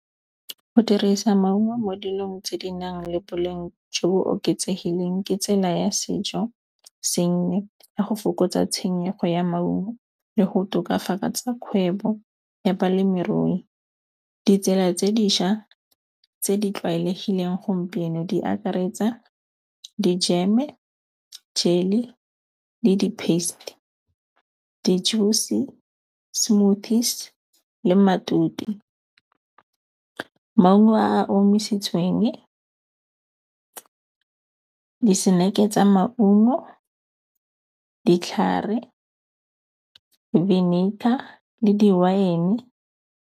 Go dirisa maungo mo dilong tse di nang le boleng jo bo oketsegileng ke tsela ya sejosengwe, ya go fokotsa tshenyego ya maungo le go tokafatsa kgwebo ya balemirui. Ditsela tse dišwa tse di tlwaelegileng gompieno di akaretsa di-jam-e, jelly le di-paste, di-juice-e, smoothies le matute. Maungo a a omisitsweng, diseneke tsa maungo, ditlhare, vinegar le di-wine-e.